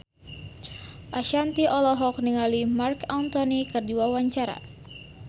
Ashanti olohok ningali Marc Anthony keur diwawancara